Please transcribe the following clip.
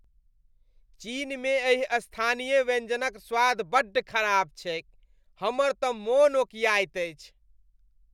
चीनमे एहि स्थानीय व्यंजनक स्वाद बड्ड खराब छैक, हमर तऽ मन ओकियाइत अछि।